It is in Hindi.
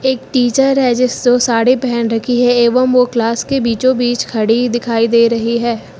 एक टीचर है जिसो साड़ी पहन रखी है एवं वो क्लास के बीचों बीच खड़ी दिखाई दे रही है।